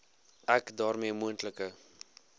ek daarmee moontlike